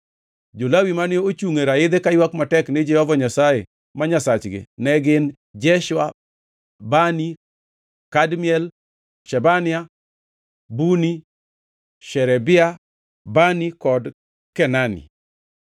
Jo-Lawi mane ochungʼ e raidhi kaywak matek ni Jehova Nyasaye ma Nyasachgi ne gin, Jeshua, Bani, Kadmiel, Shebania, Buni, Sherebia, Bani kod Kenani.